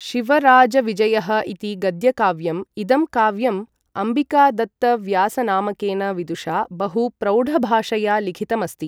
शिवराजविजयः इति गद्यकाव्यम् इदं काव्यम् अम्बिकादत्तव्यासनामकेन विदुषा बहु प्रौढभाषया लिखितमस्ति ।